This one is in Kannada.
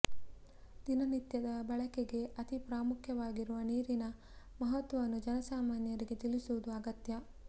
ದಿನನಿತ್ಯದ ಬಳಕೆಗೆ ಅತೀ ಪ್ರಾಮುಖ್ಯ ವಾಗಿರುವ ನೀರಿನ ಮಹತ್ವವನ್ನು ಜನಸಾಮಾನ್ಯರಿಗೆ ತಿಳಿಸುವುದು ಅಗತ್ಯ